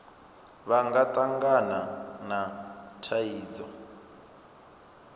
vha nga tangana na thaidzo